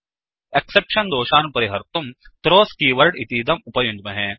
exception exception दोषान् परिहर्तुं throws keyword इतीदं उपयुञ्ज्महे